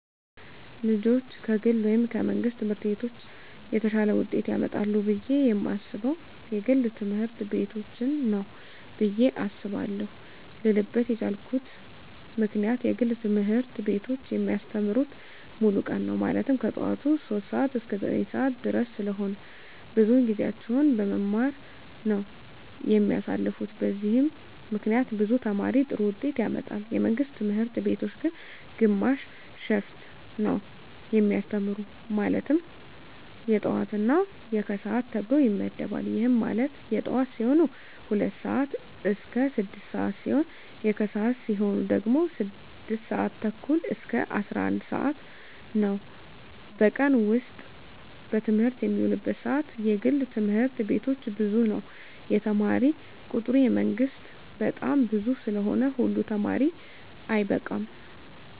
ልጆች ከግል ወይም ከመንግሥት ትምህርት ቤቶች የተሻለ ውጤት ያመጣሉ ብየ የማስበው የግል ትምህርት ቤቶችን ነው ብየ አስባለው ልልበት የቻልኩት ምክንያት የግል ትምህርት ቤቶች የሚያስተምሩት ሙሉ ቀን ነው ማለትም ከጠዋቱ 3:00 ሰዓት እስከ 9:30 ድረስ ስለሆነ ብዙውን ጊዜያቸውን በመማማር ነው የሚያሳልፉት በዚህም ምክንያት ብዙ ተማሪ ጥሩ ውጤት ያመጣል። የመንግስት ትምህርት ቤቶች ግን ግማሽ ሽፍት ነው የሚያስተምሩ ማለትም የጠዋት እና የከሰዓት ተብሎ ይመደባል ይህም ማለት የጠዋት ሲሆኑ 2:00 ስዓት እስከ 6:00 ሲሆን የከሰዓት ሲሆኑ ደግሞ 6:30 እስከ 11:00 ነው በቀን ውስጥ በትምህርት የሚውሉበት ሰዓት የግል ትምህርት ቤቶች ብዙ ነው የተማሪ ቁጥሩ የመንግስት በጣም ብዙ ስለሆነ ሁሉ ተማሪ አይበቃም።